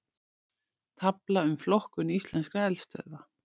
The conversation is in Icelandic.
Tafla um flokkun íslenskra eldstöðva